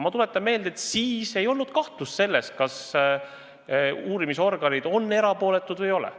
Ma tuletan meelde, et toona ei olnud kahtlust selles, kas uurimisorganid on erapooletud või ei ole.